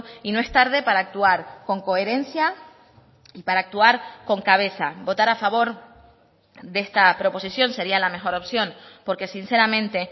y no es tarde para actuar con coherencia y para actuar con cabeza votar a favor de esta proposición sería la mejor opción porque sinceramente